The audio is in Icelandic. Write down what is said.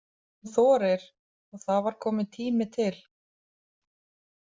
Hún þorir og það var tími kominn til.